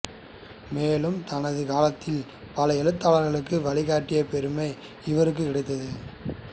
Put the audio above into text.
மேலும் தனது காலத்தின் பல எழுத்தாளர்களுக்கு வழிகாட்டிய பெருமை இவருக்கு கிடைத்தது